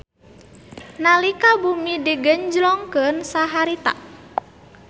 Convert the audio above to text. Nalika bumi digenjlongkeun saharita